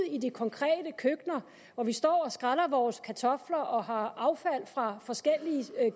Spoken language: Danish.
i de konkrete køkkener hvor vi står og skræller vores kartofler og har affald fra forskellige